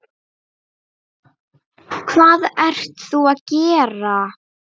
Hvað ert þú að gera?